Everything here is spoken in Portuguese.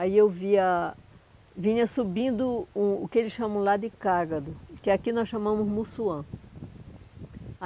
Aí eu via vinha subindo o que eles chamam lá de Cágado, que aqui nós chamamos Mussuã.